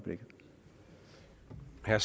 her